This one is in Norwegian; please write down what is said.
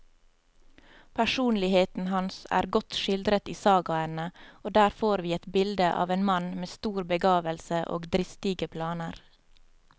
Personligheten hans er godt skildret i sagaene, og der får vi et bilde av en mann med stor begavelse og dristige planer.